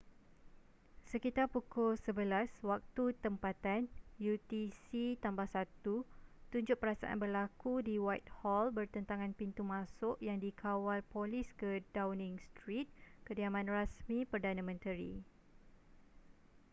sekitar pukul 11:00 waktu tempatan utc +1 tunjuk perasaan berlaku di whitehall bertentangan pintu masuk yang dikawal polis ke downing street kediaman rasmi perdana menteri